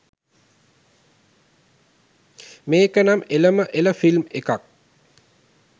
මේ‍ක නම එලම එළ ෆිල්ම් එකක්